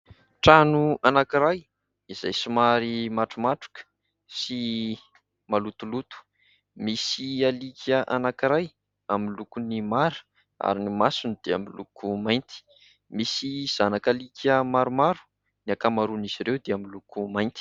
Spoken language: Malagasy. Trano anankiray izay somary matromatroka sy malotoloto, misy alika anankiray amin'ny lokony mara ary ny masony dia miloko mainty, misy zanak'alika maromaro, ny ankamaroan'izy ireo dia miloko mainty.